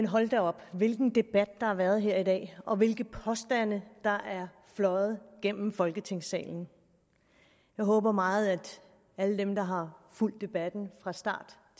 hold da op hvilken debat der har været her i dag og hvilke påstande der er fløjet gennem folketingssalen jeg håber meget at alle dem der har fulgt debatten fra start